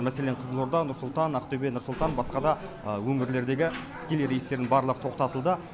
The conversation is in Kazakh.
мәселен қызылорда нұр сұлтан ақтөбе нұр сұлтан басқа да өңірлердегі тікелей рейстердің барлығы тоқтатылды